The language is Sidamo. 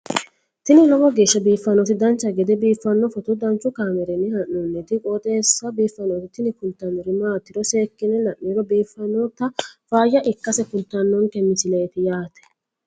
tini lowo geeshsha biiffannoti dancha gede biiffanno footo danchu kaameerinni haa'noonniti qooxeessa biiffannoti tini kultannori maatiro seekkine la'niro biiffannota faayya ikkase kultannoke misileeti yaate